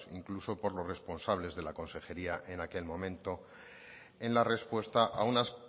incluso por los responsables de la consejería en aquel momento en la respuesta a unas